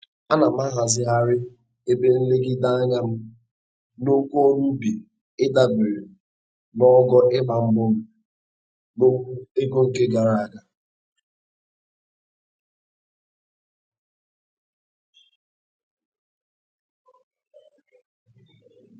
Ana m ahazigharị ebe nlegide anya m n'okwu ọrụ ubi ịdabere n'ogo ịgba mbọ m n'okwu ego nke gara aga.